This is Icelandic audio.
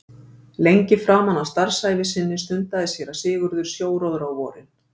Lengi framan af starfsævi sinni stundaði séra Sigurður sjóróðra á vorin.